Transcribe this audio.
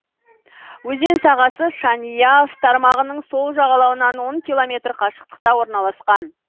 өзен сағасы шаняв тармағының сол жағалауынан он километр қашықтықта орналасқан